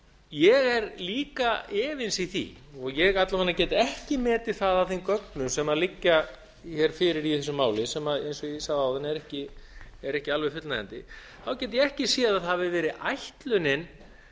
ég er líka efins í því og ég alla vega get ekki metið það af þeim gögnum sem liggja hér fyrir í þessu máli sem eins og ég sagði áðan eru ekki alveg fullnægjandi þá get ég ekki séð að það hafi verið ætlunin